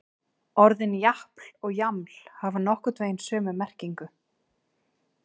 Orðin japl og jaml hafa nokkurn veginn sömu merkingu.